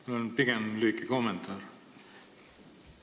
Mul on pigem lühike kommentaar.